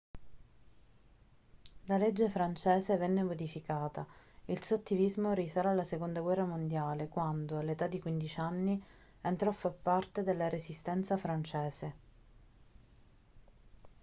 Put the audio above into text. la legge francese venne modificata il suo attivismo risale alla seconda guerra mondiale quando all'età di 15 anni entrò a far parte della resistenza francese